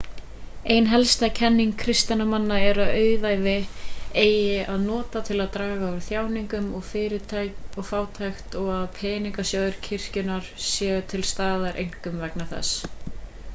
ein helsta kenning kristinna manna er að auðæfi eigi að nota til að draga úr þjáningum og fátækt og að peningasjóðir kirkjunnar séu til staðar einkum vegna þess